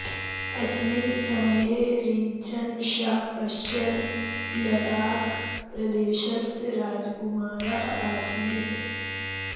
अस्मिन् समये रिञ्चन् षा कश्चर् लडाख् प्रदेशस्य राजकुमारः आसीत्